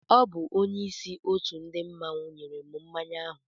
Ọ bu onyeisi òtù ndị mmanwu nyèrè m mmánya áhù